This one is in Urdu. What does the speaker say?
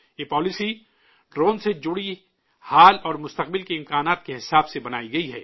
یہ پالیسی ڈرون سے جڑے حال اور مستقبل کے امکانات کے حساب سے بنائی گئی ہے